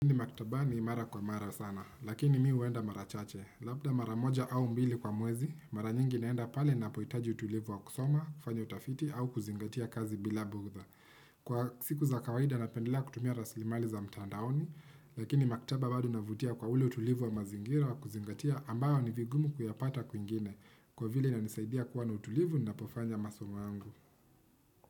Maktabani mara kwa mara sana, lakini mi huenda mara chache. Labda mara moja au mbili kwa mwezi, mara nyingi naenda pale ninapohitaji utulivu wa kusoma, kufanya utafiti au kuzingatia kazi bila bugdha. Kwa siku za kawaida na pendela kutumia raslimali za mtandaoni, lakini maktaba bado na inavutia kwa ule utulivu wa mazingira wa kuzingatia ambayo ni vigumu kuyapata kwingine, kwa vile na inisaidia kuwa na utulivu ninapofanya masomo yangu.